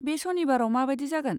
बे सनिबाराव माबायदि जागोन?